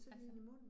Altså